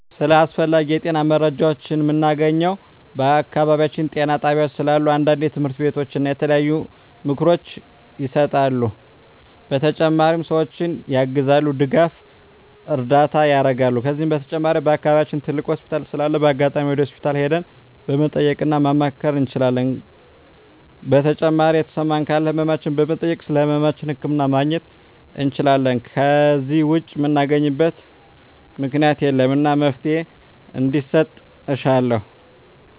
ስለ አስፈላጊ የጤና መረጃዎችን ምናገኘው በአካባቢያችን ጤና ጣቤያዎች ስላሉ አንዳንዴ ትምህርቶች እና የተለያዩ ምክሮች ይሰጣሉ በተጨማሪ ሰዎችን ያግዛሉ ድጋፍና እርዳታ ያረጋሉ ከዚህ በተጨማሪ በአከባቢያችን ትልቅ ሆስፒታል ስላለ በአጋጣሚ ወደ ሆስፒታል ሄደን መጠየቅ እና ማማከር እንችላለን ከዜ በተጨማሪ የተሰማን ካለ ህመማችን በመጠየክ ስለህመማችን ህክምና ማግኘት እንችላለን ከዜ ውጭ ምናገኝበት ምክኛት የለም እና መፍትሔ እንዲሰጥ እሻለሁ